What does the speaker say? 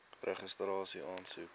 registrasieaansoek